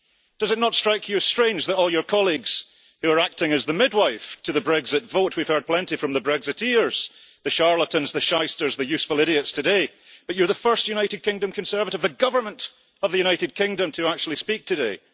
Does it not strike you as strange that, of all your colleagues, who are acting as the midwife to the Brexit vote we have heard plenty from the Brexiteers, the charlatans, the shysters, the useful idiots today you are the first United Kingdom Conservative the Government of the United Kingdom to actually speak today?